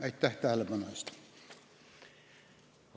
Aitäh tähelepanu eest!